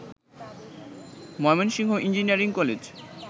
Mymensingh engineering college